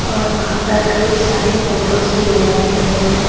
और वहां पर कई सारे फोटोस भी लगाए गए हैं।